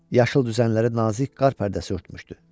Yaşıl düzənləri nazik qar pərdəsi örtmüşdü.